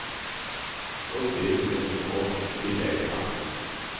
Och det som är så gott, tillägger han.